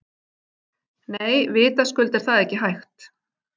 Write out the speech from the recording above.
Nei, vitaskuld er það ekki hægt.